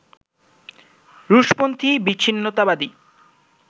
রুশপন্থি বিচ্ছিন্নতাবাদী